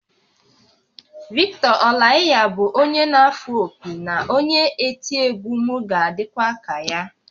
Victor Olaiya bụ onye na-afụ opi na onye eti egwu, m ga-adịkwa ka ya